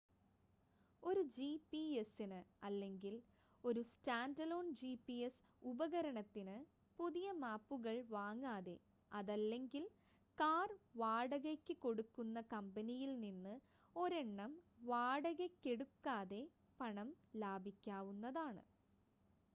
ഒരു ജി‌പി‌എസിന് അല്ലെങ്കിൽ ഒരു സ്റ്റാൻ‌ഡലോൺ ജി‌പി‌എസ് ഉപകരണത്തിന് പുതിയ മാപ്പുകൾ വാങ്ങാതെ, അതല്ലെങ്കിൽ കാർ വാടകയ്‌ക്ക് കൊടുക്കുന്ന കമ്പനിയിൽ നിന്ന് ഒരെണ്ണം വാടകയ്‌ക്കെടുക്കാതെ പണം ലാഭിക്കാവുന്നതാണ്